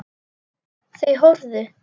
Þau horfðu.